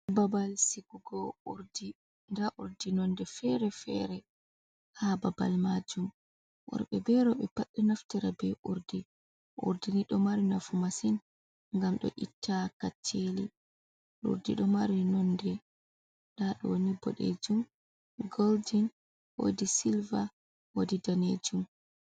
Babal sigugo ndaa urdi nonde fere-fere haa babal majum, worbe bee roɓe pad ɗo naftira bee urdi, urdi ni ɗo mari nafu masin ngam ɗo itta kaccheli, urdi ɗo mari nonde ndaa ɗo ni bodejum, goldin woodi silver woodi daneejum.